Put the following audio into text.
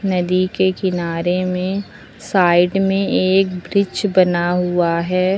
नदी के किनारे में साइड में एक वृक्ष बना हुआ है।